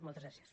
moltes gràcies